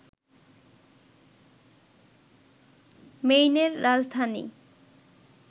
মেইনের রাজধানী